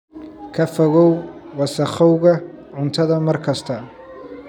Ka fogow wasakhowga cuntada mar kasta.